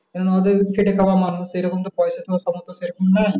কেননা ওদের খেটে খাওয়া মানুষ রকম তো পয়সা দেবার সামর্থ সেরকম নাই